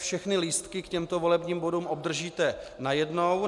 Všechny lístky k těmto volebním bodům obdržíte najednou.